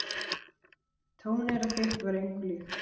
Tóneyra þitt var engu líkt.